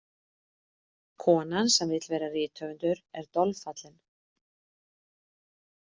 Konan sem vill vera rithöfundur er dolfallin.